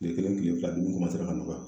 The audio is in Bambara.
Kile kelen kile fila dumuni ra ka nɔgɔya